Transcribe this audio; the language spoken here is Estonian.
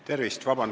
Tervist!